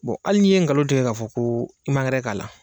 hali n'i ye ngalon tigɛ k'a fɔ ko i man k'a la.